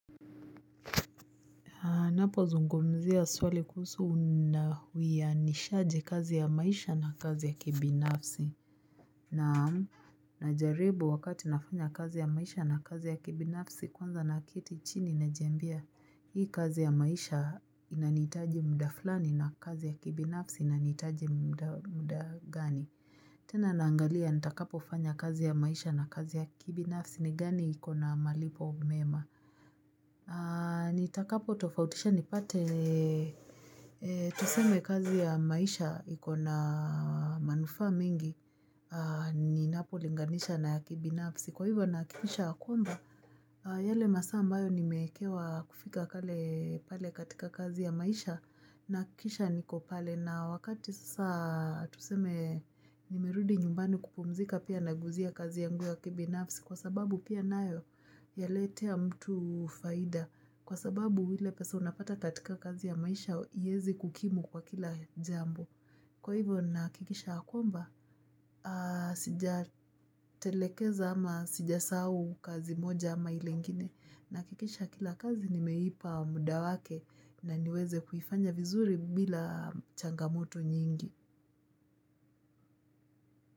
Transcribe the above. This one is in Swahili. Ninapozungumzia swali kuhusu una uianishaji kazi ya maisha na kazi ya kibinafsi. Naamu, na jaribu wakati nafanya kazi ya maisha na kazi ya kibinafsi kwanza naketi chini najiambia hii kazi ya maisha inanihitaji muda fulani na kazi ya kibinafsi inanihitaji muda gani. Tena naangalia nitakapofanya kazi ya maisha na kazi ya kibinafsi ni gani ikona malipo mema. Nitakapo tofautisha nipate tuseme kazi ya maisha ikona manufa mingi Ninapo linganisha na kibinafsi Kwa hivyo nahakikisha ya kwamba yale masaa ambayo nimewekewa kufika kale pale katika kazi ya maisha Nahakikisha niko pale na wakati sasa tuseme nimerudi nyumbani kupumzika pia na guzia kazi yangu ya kibinafsi Kwa sababu pia nayo yaletea mtu faida Kwa sababu ile pesa unapata katika kazi ya maisha iezi kukimu kwa kila jambo. Kwa hivyo nahakikisha ya kwamba, sija telekeza ama sijasahau kazi moja ama ilengine, nahakikisha kila kazi nimeipa muda wake na niweze kuifanya vizuri bila changamoto nyingi.